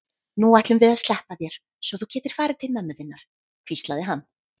Nú ætlum við að sleppa þér svo þú getir farið til mömmu þinnar, hvíslaði hann.